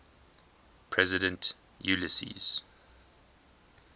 president ulysses s